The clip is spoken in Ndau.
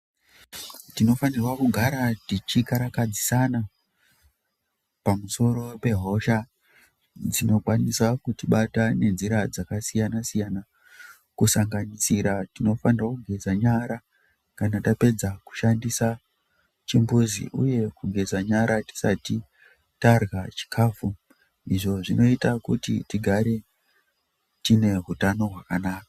Tino fanirwa kugara tichi karakadzisana pamusoro pe hosha dzino kwanisa kuti bata ne nzira dzaka siyana siyana kusanganisira tino fanirwa kugeza nyara kana tapedza kushandisa chimbudzi uye kugeza nyara tisati tarya chikafu izvo zvinoita tigare tine hutano hwakanaka.